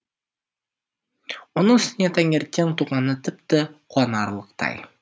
оның үстіне таңертең туғаны тіпті қуанарлықтай